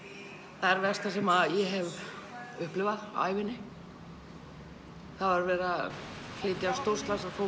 það erfiðasta sem ég hef upplifað á ævinni það var verið að flytja stórslasað fólk